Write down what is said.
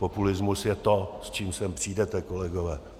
Populismus je to, s čím sem přijdete, kolegové.